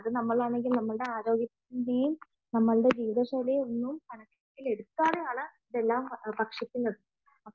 നമ്മളാണെങ്കിൽ നമ്മുടെ ആരോഗ്യത്തിന്റെയും നമ്മുടെ ജീവിത തീവിത ശൈലി ഒന്നും കണക്കിലെടുക്കാതെയാണ് ഭക്ഷിക്കുന്നത്